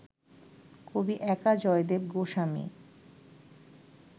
কবি একা জয়দেব গোস্বামী